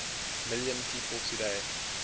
million people today